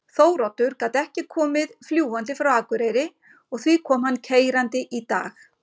Þóroddur gat ekki komið fljúgandi frá Akureyri og því kom hann keyrandi í dag.